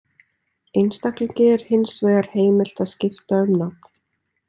Einstaklingi er hins vegar heimilt að skipta um nafn.